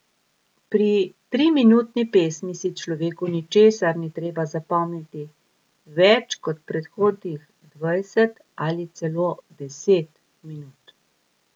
Pri triminutni pesmi si človeku ničesar ni treba zapomniti več kot predhodnih dvajset ali celo deset minut.